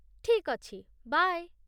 ଠିକ୍ ଅଛି, ବାଏ।